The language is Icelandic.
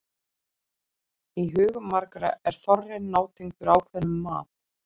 Í hugum margra er þorrinn nátengdur ákveðnum mat.